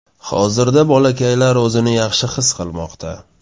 Hozirda bolakaylar o‘zini yaxshi his qilmoqda.